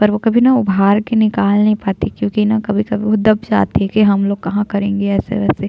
पर वो कभी ना उभार के निकाल नहीं पाते है क्यूंकि न कभी कभी वो दब जाते है की हम लोग कहाँ करेंगे अइसे वैसे--